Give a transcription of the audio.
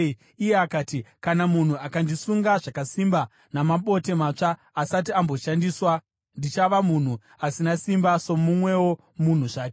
Iye akati, “Kana munhu akandisunga zvakasimba namabote matsva asati amboshandiswa, ndichava munhu asina simba somumwewo munhu zvake.”